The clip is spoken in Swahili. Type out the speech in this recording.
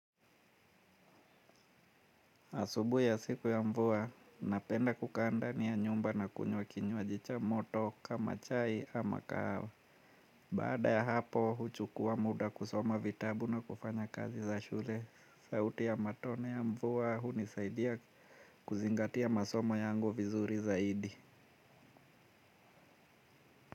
Asubuhi ya siku ya mvua, napenda kukaa ndani ya nyumba na kunywa kinywaji cha moto kama chai ama kahawa. Baada ya hapo, huchukua muda kusoma vitabu na kufanya kazi za shule. Sauti ya matone ya mvua, hunisaidia kuzingatia masomo yangu vizuri zaidi.